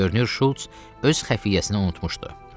Görünür, Şulc öz xəfiyyəsini unutmuşdu.